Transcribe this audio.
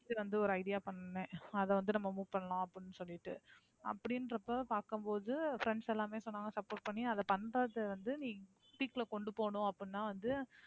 வந்து ஒரு idea பண்ணேன். அதைவந்து நம்ம move பண்ணலாம் அப்படின்னு சொல்லிட்டு, அப்படின்றப்ப பாக்கும்போது friends எல்லாருமே சொன்னாங்க support பண்ணி, அதை பண்றது வந்து நீ peak ல கொண்டு போகணும் அப்படின்னா வந்து,